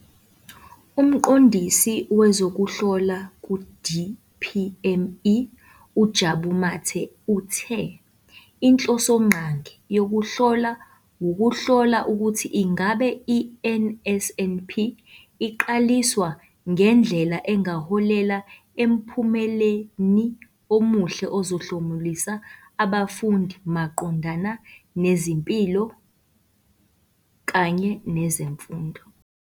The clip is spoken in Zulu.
UMqondisi Wezokuhlola ku-DPME, uJabu Mathe, uthe inhlosongqangi yokuhlola wukuhlola ukuthi ingabe i-NSNP iqaliswa ngendlela engaholela emphumeleni omuhle ozohlomulisa abafundi maqondana nezempilo kanye nezemfundo.